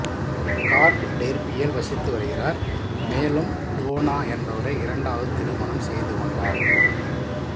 கார்க் டெர்பியில் வசித்து வருகிறார் மேலும் டோனா என்பவரை இரண்டாவது திருமணம் செய்து கொண்டார்